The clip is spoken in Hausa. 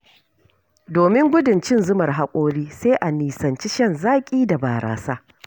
Domin gudun cin-zumar haƙora, sai a nisanci shan zaƙi da barasa.